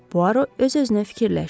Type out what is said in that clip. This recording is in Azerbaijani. Puaro öz-özünə fikirləşdi.